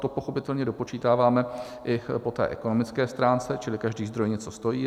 To pochopitelně dopočítáváme i po té ekonomické stránce, čili každý zdroj něco stojí.